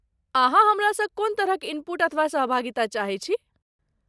अहाँ हमरासँ कोन तरहक इनपुट अथवा सहभागिता चाहै छी?